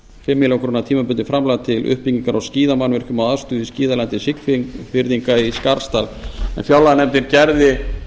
fimm milljónir króna tímabundið framlag til uppbyggingar á skíðamannvirkjum og aðstöðu í skíðalandi siglfirðinga í skarðsdal fjárlaganefndin gerði